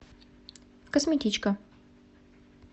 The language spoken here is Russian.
косметичка